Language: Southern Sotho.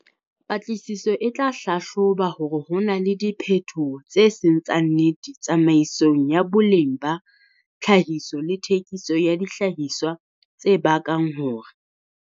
Patlisiso e tla hlahloba hore ho na le diphetoho tse seng tsa nnete tsamaisong ya boleng ba tlhahiso le thekiso ya dihlahiswa tse bakang hore.